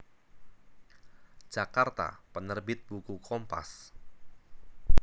Jakarta Penerbit Buku Kompas